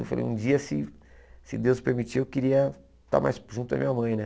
Eu falei, um dia, se se Deus permitir, eu queria estar mais junto da minha mãe, né?